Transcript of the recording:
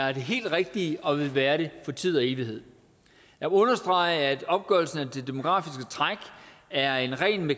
er det helt rigtige og vil være det for tid og evighed jeg understreger at opgørelsen af det demografiske træk er en ren